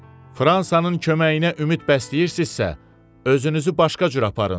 Fransanın köməyinə ümid bəsləyirsinizsə, özünüzü başqa cür aparın.